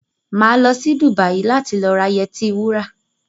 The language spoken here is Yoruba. Máa lọ sí Dùbàyí láti lọ ra yẹtí wura